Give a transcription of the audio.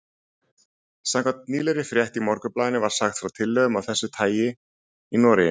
Samkvæmt nýlegri frétt í Morgunblaðinu var sagt frá tillögum af þessu tagi í Noregi.